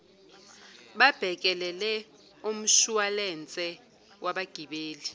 babhekelele umshuwalense wabagibeli